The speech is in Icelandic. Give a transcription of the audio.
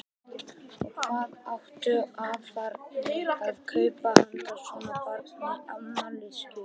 Og hvað áttu afarnir að kaupa handa svona barni í afmælisgjöf?